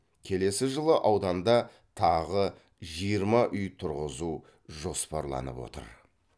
келесі жылы ауданда тағы жиырма үй тұрғызу жоспарланып отыр